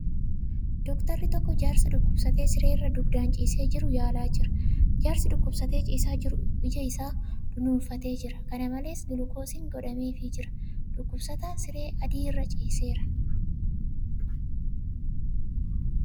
Dooktarri tokko jaarsa dhukkubsatee siree irra dugdaan ciisee jiru yaalaa jira. Jaarsi dbukkubsatee ciisaa jiru ija isaa dunuunfatee jira. Kana malees , gulukoosiin godhameefii jira. Dhukkubsataan siree adii irra ciiseera.